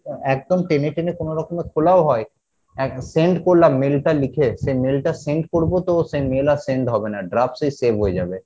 একদম টেনে টেনে কোনোরকমে খোলা ও হয় একটা send করলাম mail টা লিখে সে mail টা send করবো তো সে mail আর send হবে না draft এই save হয়ে যাবে